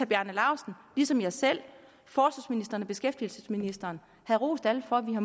bjarne laustsen ligesom jeg selv forsvarsministeren og beskæftigelsesministeren havde rost alle for at vi har